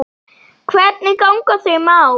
Hvernig ganga þau mál?